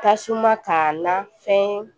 Tasuma k'a na fɛn